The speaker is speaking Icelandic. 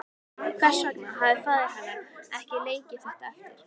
Hvers vegna hafði faðir hennar ekki leikið þetta eftir?